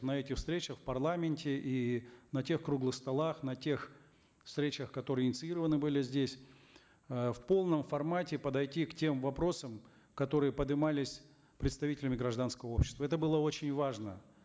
на этих встречах в парламенте и на тех круглых столах на тех встречах которые инициированы были здесь э в полном формате подойти к тем вопросам которые подымались представителями гражданского общества это было очень важно